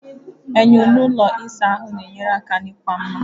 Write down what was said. Enyo n'ụlọ ịsa ahụ na-enyere aka n'ịkwa mma.